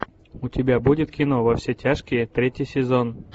у тебя будет кино во все тяжкие третий сезон